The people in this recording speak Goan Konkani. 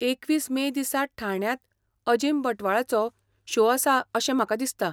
एकवीस मे दिसा ठाण्यांत अजीम बंटवाळाचो शो आसा अशें म्हाका दिसता.